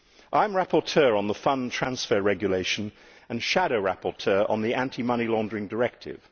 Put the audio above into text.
I am rapporteur on the fund transfer regulation and shadow rapporteur on the anti money laundering directive.